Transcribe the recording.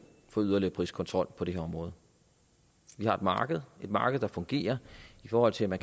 for yderligere priskontrol på det her område vi har et marked et marked der fungerer i forhold til at